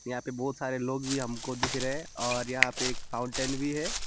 यहां पे बहुत सारे लोग भी हमको दिख रहे हैं और यहां पे फाउंटेन भी है।